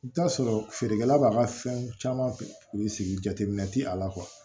I bi t'a sɔrɔ feerekɛla b'a ka fɛn caman sigi jateminɛ ti a la